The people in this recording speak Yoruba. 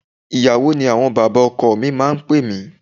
Ìyàwó mi ni àwọn bàbá ọkọ mi máa ń pè mí.